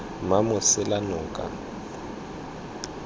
mmamasilanoka